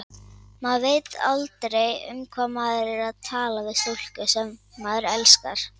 Maður veit aldrei, um hvað maður á að tala við stúlku, sem maður elskar.